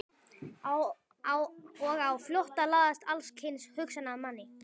Og á flótta læðast alls kyns hugsanir að manni.